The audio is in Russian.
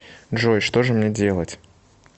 джой что же мне делать